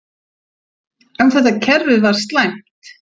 En þetta kerfi var slæmt.